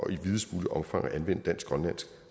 i videst muligt omfang at anvende dansk grønlandsk